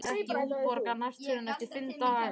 Hann fær ekki útborgað næst fyrr en eftir fimm daga.